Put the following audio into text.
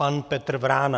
Pan Petr Vrána.